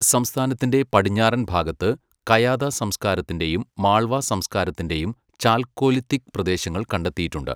സംസ്ഥാനത്തിന്റെ പടിഞ്ഞാറൻ ഭാഗത്ത്, കയാത സംസ്കാരത്തിന്റെയും മാൾവ സംസ്കാരത്തിന്റെയും, ചാൽക്കോലിത്തിക് പ്രദേശങ്ങൾ കണ്ടെത്തിയിട്ടുണ്ട്..